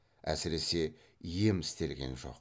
әсіресе ем істелген жоқ